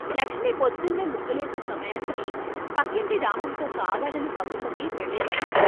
లక్ష్మి పొద్దున్నే ముగ్గులేసే సమయానికి పక్కింటి రామంతో కావాలని కబుర్లకి వెళ్ళేవాణ్ణి.